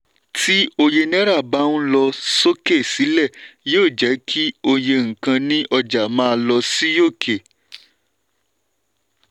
tí òye náírà bá ń lọ sókè sílẹ̀ yóò jẹ́ kí òye nkan ní ọjà má lọ sí òkè.